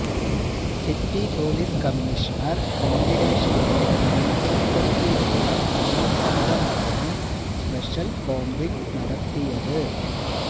city police commissioner വെങ്കിടേഷിന്റെ നേതൃത്വത്തിലുള്ള police സംഘമാണ് സ്പെഷ്യല് കോംബിംഗ് നടത്തിയത്